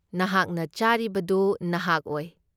ꯅꯍꯥꯛꯅ ꯆꯥꯔꯤꯕꯗꯨ ꯅꯍꯥꯛ ꯑꯣꯏ꯫